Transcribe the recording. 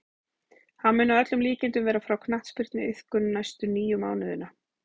Hann mun að öllum líkindum vera frá knattspyrnuiðkun næstu níu mánuðina.